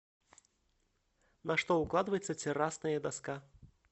на что укладывается террасная доска